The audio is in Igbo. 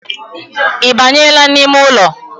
Ibanyeela n’ime ụlọ?